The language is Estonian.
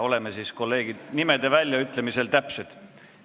Oleme siis, kolleegid, nimede väljaütlemisel täpsed.